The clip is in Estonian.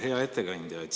Hea ettekandja!